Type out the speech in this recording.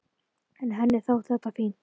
En henni þótti þetta fínt.